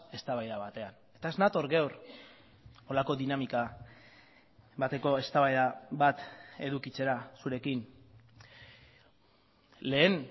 eztabaida batean eta ez nator gaur horrelako dinamika bateko eztabaida bat edukitzera zurekin lehen